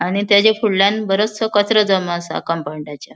आणि त्याज्या फुडल्याण बरोचसों कचरो जमो आसा कमपौंडाच्या .